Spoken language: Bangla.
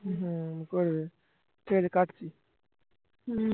হম করবে ঠিক আছে কাটছি